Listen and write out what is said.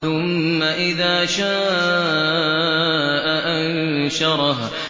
ثُمَّ إِذَا شَاءَ أَنشَرَهُ